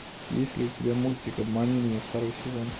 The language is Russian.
есть ли у тебя мультик обмани меня второй сезон